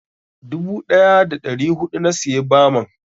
Dubu ɗaya da ɗari huɗu na siya baman.